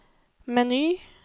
meny